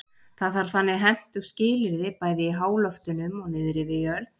Það þarf þannig hentug skilyrði bæði í háloftunum og niðri við jörð.